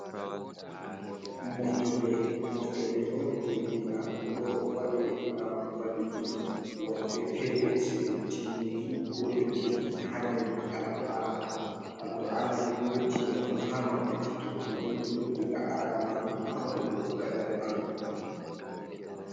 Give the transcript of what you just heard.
Moftorle: Moftorle on je diina ɗum ɗo waɗe ngam valliki woɓɓe fere seyo timminki ko yottinki ha jangiki al-kur'ana. Al-Kur'ana ɗum yottine on ha wakkati to goɗɗo jangi ɗum diga aran majum ha warugo ragare majum.